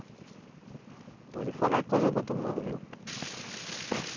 Então lhe falar, é coisa do outro mundo, viu?